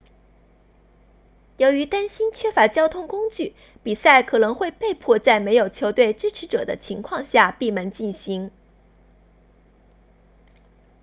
由于担心缺乏交通工具比赛可能会被迫在没有球队支持者的情况下闭门进行